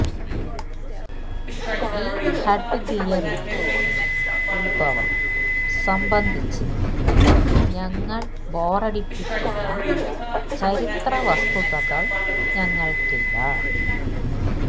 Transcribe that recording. ഈ ഹെഡ്ഗിയറിന്റെ ഉത്ഭവം സംബന്ധിച്ച് ഞങ്ങൾ ബോറടിപ്പിക്കുന്ന ചരിത്ര വസ്തുതകൾ ഞങ്ങൾക്കില്ല